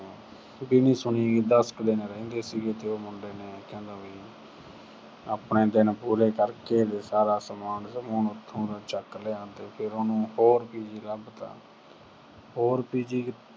ਕੁੜੀ ਦੀ ਸੁਣੀ। ਦਸ ਕੁ ਦਿਨ ਰਹਿੰਦੇ ਸੀਗੇ ਤੇ ਉਹ ਮੁੰਡੇ ਨੇ ਕਹਿੰਦਾ ਵੀ ਆਪਣੇ ਦਿਨ ਪੂਰੇ ਕਰਕੇ ਤੇ ਸਾਰਾ ਸਮਾਨ ਸੁਮਾਨ ਉੱਥੋਂ ਚੁੱਕ ਲਿਆਵਾਂਗੇ ਤੇ ਫਿਰ ਉਹਨੂੰ ਹੋਰ PG ਲੱਭਤਾ। ਹੋਰ PG